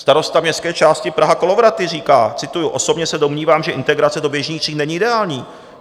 Starosta městské části Praha - Kolovraty říká, cituji: "Osobně se domnívám, že integrace do běžných tříd není ideální.